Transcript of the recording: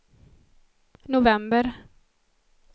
november